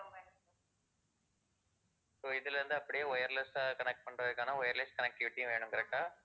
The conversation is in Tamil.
so இதுல இருந்து அப்படியே wireless ஆ connect பண்றதுக்கான wireless connectivity வேணும் correct டா?